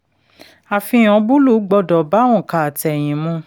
àfihàn búlù gbọ́dọ̀ bá ònkà àtẹ̀yìn mu.